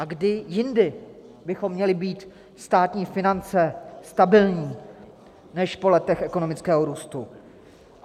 A kdy jindy bychom měli mít státní finance stabilní než po letech ekonomického růstu?